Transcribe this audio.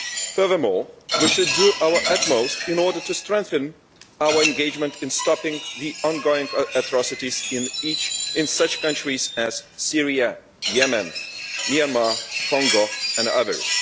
Furthermore, we should do our utmost in order to strengthen our engagement in stopping the ongoing atrocities in such countries as Syria, Yemen, Myanmar, Congo and others.